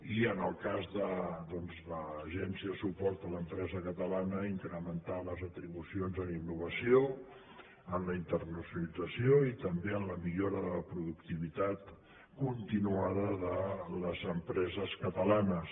i en el cas de l’agència de suport a l’empresa catalana incrementar les atribucions en innovació en la internacionalització i també en la millora de la productivitat continuada de les empreses catalanes